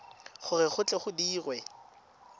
gore go tle go dirwe